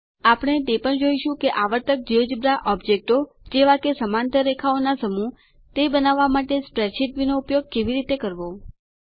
આપણે તે પણ જોઈશું કે આવર્તક જિયોજેબ્રા ઓબ્જેક્ટો જેવા કે સમાંતર રેખાઓનો સમૂહ તે બનાવવા માટે સ્પ્રેડશીટ વ્યુનો કેવી રીતે ઉપયોગ કરવો